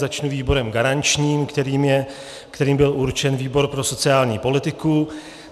Začnu výborem garančním, kterým byl určen výbor pro sociální politiku.